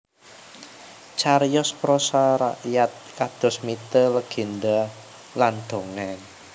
Cariyos prosa rakyat kados mite legendha lan dongeng